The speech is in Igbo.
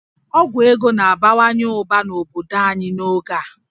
Ọgwụ ego na-abawanye ụba n'obodo anyị n'oge a